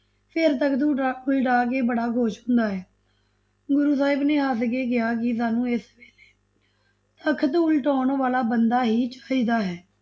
ਫਿਰ ਤਖਤ ਉੱਠਾ, ਉਲਟਾਕੇ ਬੜਾ ਖੁਸ਼ ਹੁੰਦਾ ਹੈ, ਗੁਰੂ ਸਾਹਿਬ ਨੇ ਹੱਸ ਕੇ ਕਿਹਾ ਕਿ ਸਾਨੂੰ ਇਸ ਵੇਲੇ ਤਖਤ ਉਲਟਾਓਣ ਵਾਲਾ ਬੰਦਾ ਹੀ ਚਾਹੀਦਾ ਹੈ।